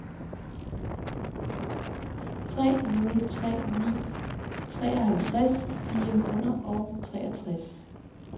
tre nul tre ni treoghalvtreds fire hundrede og treogtres